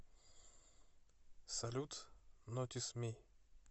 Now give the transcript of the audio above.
салют нотис ми